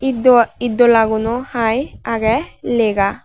it dow itdola gunow hai aagey lega.